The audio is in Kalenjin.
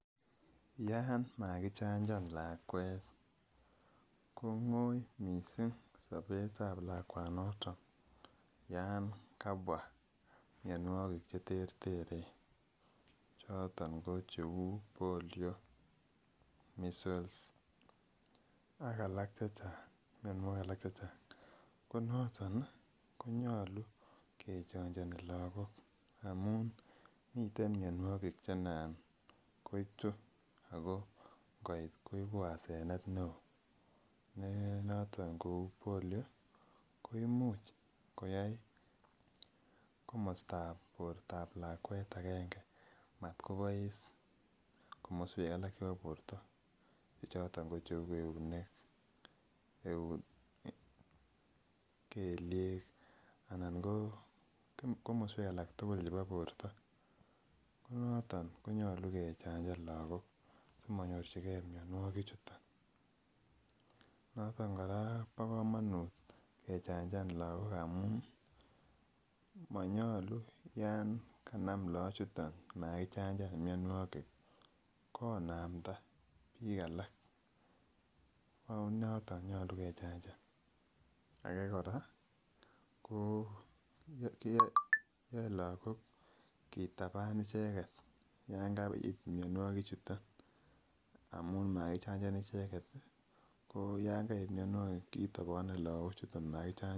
Yaa makichanjan lakwet kong'wuny miising' sabeet ap lakwanotok yan kabwa mnyonwokik cheterteren. chooton ko cheuu polio, measles, ak alak chechang' .ko nooton konyolu kechanjan lagook amu miten myonwokik anan koitu ako koit koibuasenet neo. ne noton kou polio koimuch koyai komasta ap borto ap lakwet agenge matkobois komaswek alak chebo borto choton ko cheu eunek, kelyek, anan ko komaswek alak tugul chebo borto. ko nooton konyolu kechanjan lagook simanyorchigei mnyonwokichutok. noton kora kobo komonut kechanjan lagook amu manyolu yaan kanam lagoochutok makichanjan mnyanwokik konaamda biik alak ako noton nyolu kechanjan. ake kora ko kiyae lagook kitaban icheget ya ngait myonwokik chutok amu makichanjan icheget ko ya ngait mnyonwokik kitaban logoochutok makichanjan